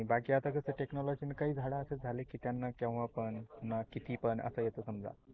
बाकी आता कस technology ने काही झाड असे झाल की त्यांना केवा पण किती पण असा येत समजा.